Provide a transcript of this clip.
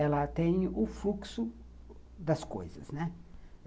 Ela tem o fluxo das coisas, né.